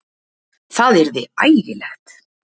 Það yrði ægilegt!